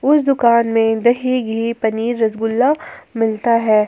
उस दुकान में दही घी पनीर रसगुल्ला मिलता है।